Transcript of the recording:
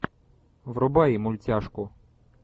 врубай мультяшку